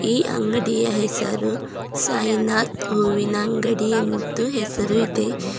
ಈ ಅಂಗಡಿಯ ಹೆಸರು ಸಾಯಿನಾಥ್ ಹೂವಿನ ಅಂಗಡಿ ಎಂದು ಹೆಸರು ಇದೆ.